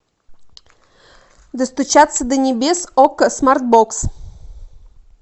достучаться до небес окко смарт бокс